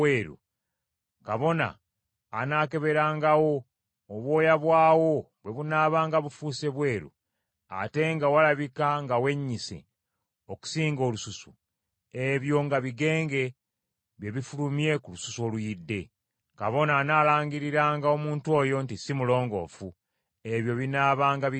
kabona anaakeberangawo, obwoya bwawo bwe bunaabanga bufuuse bweru, ate nga walabika ng’awennyise okusinga olususu, ebyo nga bigenge bye bifulumye ku lususu oluyidde. Kabona anaalangiriranga omuntu oyo nti si mulongoofu; ebyo binaabanga bigenge.